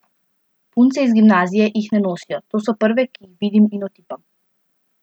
Punce iz gimnazije jih ne nosijo, to so prve, ki jih vidim in otipam.